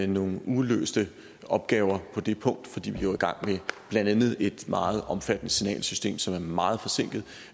nogen uløste opgaver på det punkt fordi vi jo er i gang med blandt andet et meget omfattende signalsystem som er meget forsinket